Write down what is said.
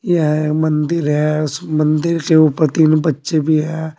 यह मंदिर है उस मंदिर के ऊपर तीन बच्चे भी है।